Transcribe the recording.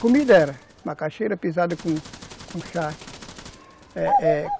Comida era macaxeira pisada com com charque, é é